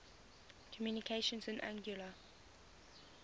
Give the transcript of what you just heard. communications in anguilla